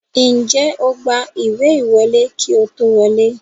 Ǹjẹ́ o gba ìwé ìwọlé kí ó tó wọlé?